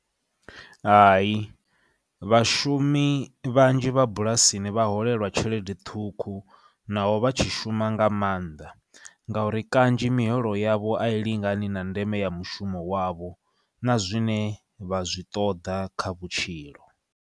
Hai, vhashumi vhanzhi vha bulasini vha holelwa tshelede ṱhukhu naho vha tshi shuma nga maanḓa, ngauri kanzhi miholo yavho a i lingani na ndeme ya mushumo wavho, na zwine vha zwi ṱoḓa kha vhutshilo.